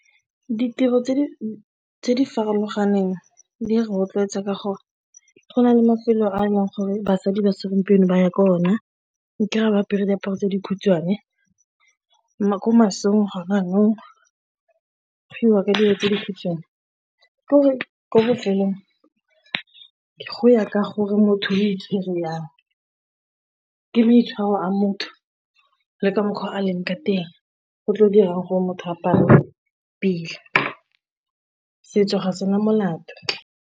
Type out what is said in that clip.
Ditiro tse di farologaneng di rotloetsa ka gore go na le mafelo a e leng gore basadi ba segompieno ba ya ko ona, o kry-a ba apere diaparo tse dikhutshwane ko masong ga go iwa ke dilo tse ditsong ko bofelong ke goya ka gore motho itshwereng, ke maitshwaro a motho le ka mokgwa o a leng ka teng, go tlo dirang gore motho a apare pila, setso ga se na molato.